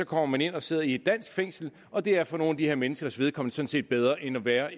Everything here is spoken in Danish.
kommer man ind og sidder i et dansk fængsel og det er for nogle af de her menneskers vedkommende sådan set bedre end at være